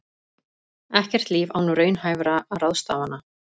Ekkert líf án raunhæfra ráðstafana